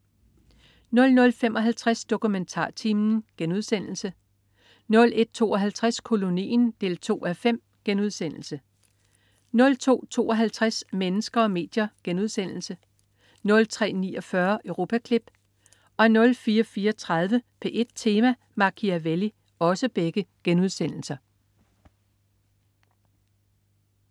00.55 DokumentarTimen* 01.52 Kolonien 2:5* 02.52 Mennesker og medier* 03.49 Europaklip* 04.34 P1 Tema: Machiavelli*